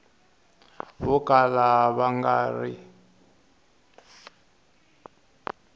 vo kala va nga ri